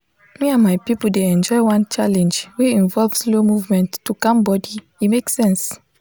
me and my people dey enjoy one challenge wey involve slow movement to calm body e make sense.